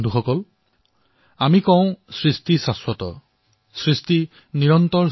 বন্ধুসকল আমাৰ ইয়াত কোৱা হয় সৃজন শ্বাস্বত সৃজন নিৰন্তৰ